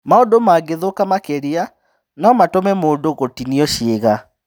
Maũndu mangĩthũka makĩria, no matũme mũndũ gũtinio ciĩga.